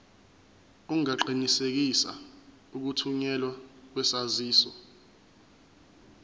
ungaqinisekisa ukuthunyelwa kwesaziso